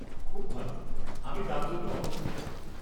খুব ভাল, আমি তার জন্য অপেক্ষা করব।